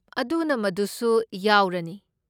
ꯑꯗꯨꯅ ꯃꯗꯨꯁꯨ ꯌꯥꯎꯔꯅꯤ꯫